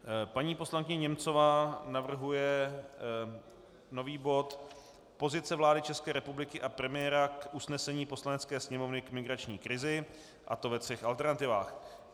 Paní poslankyně Němcová navrhuje nový bod Pozice vlády České republiky a premiéra k usnesení Poslanecké sněmovny k migrační krizi, a to ve třech alternativách.